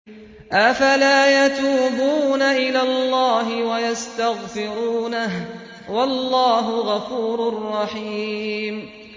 أَفَلَا يَتُوبُونَ إِلَى اللَّهِ وَيَسْتَغْفِرُونَهُ ۚ وَاللَّهُ غَفُورٌ رَّحِيمٌ